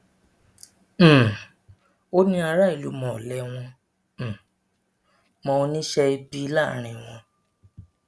um ó ní aráàlú mọ ọlẹ wọn um mọ oníṣẹ ibi láàrin wọn